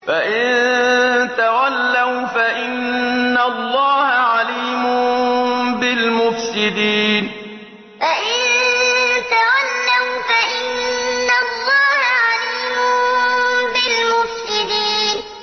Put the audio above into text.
فَإِن تَوَلَّوْا فَإِنَّ اللَّهَ عَلِيمٌ بِالْمُفْسِدِينَ فَإِن تَوَلَّوْا فَإِنَّ اللَّهَ عَلِيمٌ بِالْمُفْسِدِينَ